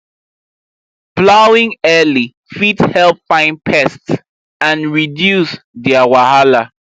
plowing early fit help find pests and reduce their wahala